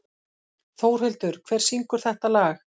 Þórhildur, hver syngur þetta lag?